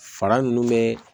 Fara ninnu bɛ